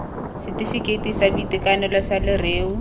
setefikeiti sa boitekanelo sa leruo